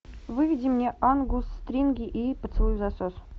выведи мне ангус стринги и поцелуй взасос